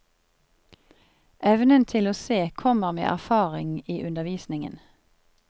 Evnen til å se kommer med erfaring i undervisningen.